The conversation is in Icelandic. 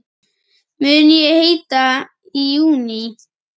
Mun ég hætta í júní?